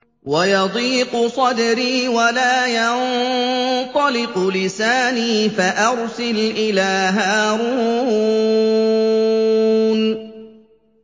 وَيَضِيقُ صَدْرِي وَلَا يَنطَلِقُ لِسَانِي فَأَرْسِلْ إِلَىٰ هَارُونَ